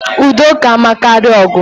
Udo ka mma karịa ogu